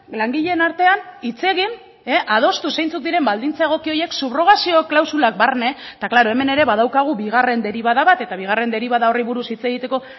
langileen artean hitz egin adostu zeintzuk diren baldintza egoki horiek subrogazio klausulak barne eta klaro hemen ere badaukagu bigarren deribada bat eta bigarren deribada horri buruz hitz egiteko